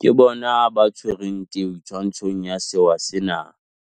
Ke bona ba tshwereng teu twantshong ya sewa sena.